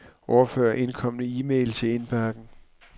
Overfør indkomne e-mail til indbakken.